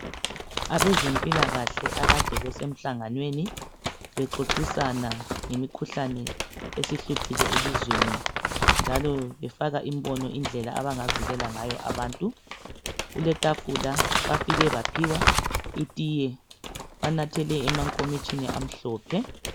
Abezempilakahle abekade besemhlanganweni bexoxisana ngemikhuhlane esihluphile elizweni njalo befaka imibono indlela abangavikela ngayo abantu. Kuletafula bafike baphiwa itiye . Banathele emankomitshini amhlophe